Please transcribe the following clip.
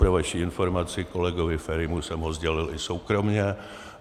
Pro vaši informaci, kolegovi Ferimu jsem ho sdělil i soukromě.